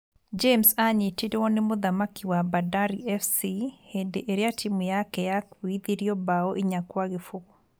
James anyitirwo nĩ mũthaki wa Bandari FC hĩndĩ ĩrĩa timũ yake yakuithirio mbaũ inya kwa gĩbũgũ.